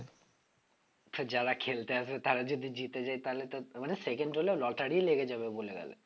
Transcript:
যারা খেলতে আসবে তারা যদি জিতে যায় তাহলে তো মানে second হলেও lottery লেগে যাবে বলা গেলে